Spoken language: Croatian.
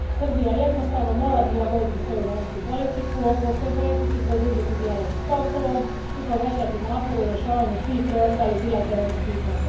Srbija jednostavno mora prilagoditi svoju vanjsku politiku europskoj politici, produbiti dijalog s Kosovom i povećati napore u rješavanju svih preostalih bilateralnih pitanja.